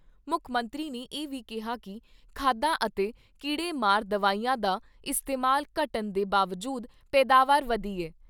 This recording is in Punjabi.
ਮੁੱਖ ਮੰਤਰੀ ਨੇ ਇਹ ਵੀ ਕਿਹਾ ਕਿ ਖਾਦਾਂ ਅਤੇ ਕੀੜੇਮਾਰ ਦਵਾਈਆਂ ਦਾ ਇਸਤੇਮਾਲ ਘੱਟਣ ਦੇ ਬਾਵਜੂਦ ਪੈਦਾਵਾਰ ਵਧੀ ਐ।